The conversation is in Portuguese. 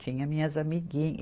Tinha minhas amigui